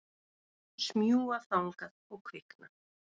Smjúga þangað og kvikna.